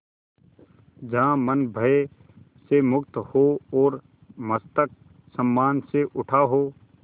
जहाँ मन भय से मुक्त हो और मस्तक सम्मान से उठा हो